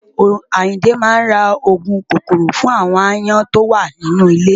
Àyìndé máa ra òògùn kòkòrò fún àwon aáyán tó wà nínú ilé.